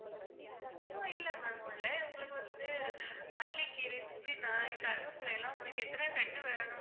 உங்களுக்கு வந்து மல்லிக்கீரை, புதினா, கருவேப்பிலை எல்லாம் உங்களுக்கு எத்தனை கட்டு வேணும்